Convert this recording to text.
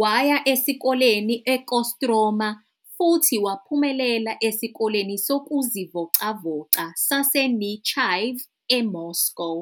Waya esikoleni eKostroma futhi waphumelela esikoleni sokuzivocavoca saseNechaev eMoscow.